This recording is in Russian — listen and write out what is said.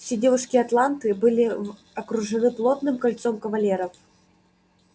все девушки атланты были окружены плотным кольцом кавалеров